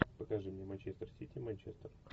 покажи мне манчестер сити манчестер